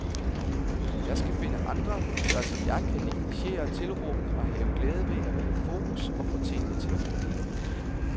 Jeg skal finde andre, der som jeg kan negligere tilråbene og have glæde ved at være i fokus og få tingene til at fungere.